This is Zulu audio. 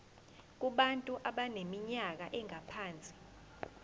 kubantu abaneminyaka engaphansi